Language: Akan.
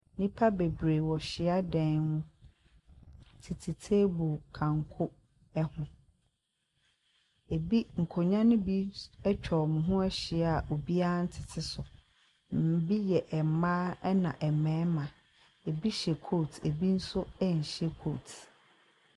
Nnipa bebree wɔ hyiadan mu tete teebol kanko ɛho. Nkonwa no bi etwa wɔn ahyia a obiaa ntete so. Ebi yɛ mmaa ɛna mmɛrima. Ebi hyɛ kot, ebi nso ɛnhyɛ kot.